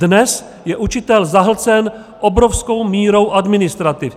Dnes je učitel zahlcen obrovskou mírou administrativy.